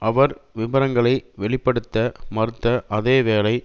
அவர் விபரங்களை வெளி படுத்த மறுத்த அதே வேளை